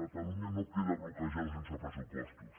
catalunya no queda bloquejada sense pressupostos